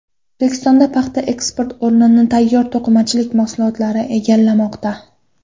O‘zbekistonda paxta eksporti o‘rnini tayyor to‘qimachilik mahsulotlari egallamoqda.